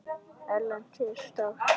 Erlends er sárt saknað.